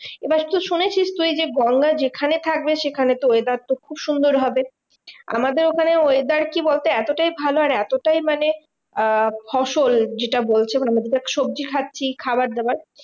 এবার তো শুনেছিস যে গঙ্গা যেখানে থাকবে সেখানের তো weather তো খুব সুন্দর হবে। আমাদের ওখানে weather কি বলতো? এতটাই ভালো আর এতটাই মানে আহ ফসল যেটা বলছে সবজি খাচ্ছি খাবার দাবার